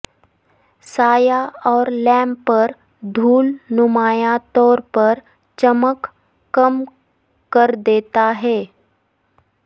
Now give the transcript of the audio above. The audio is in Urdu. سایہ اور لیمپ پر دھول نمایاں طور پر چمک کم کر دیتا ہے